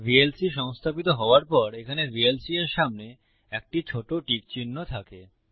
VLC সংস্থাপিত হওয়ার পর এখানে ভিএলসি এর সামনে একটি ছোট টিক চিহ্ন থাকে